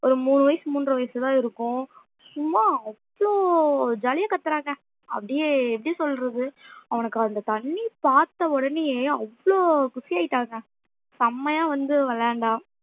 ஒரு மூணு வயசு மூன்றரை வயசுதான் இருக்கும் சும்மா அவ்வளவு jolly யா கத்தறாங்க அப்டியே எப்படி சொல்றது அவனுக்கு அந்த தண்ணி பார்த்த ஒடனேயே அவ்வளவு குஷி ஆயிட்டாங்க செம்மையா வந்து விளையாண்டான்